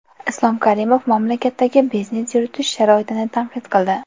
Islom Karimov mamlakatdagi biznes yuritish sharoitini tanqid qildi.